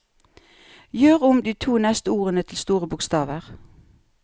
Gjør om de to neste ordene til store bokstaver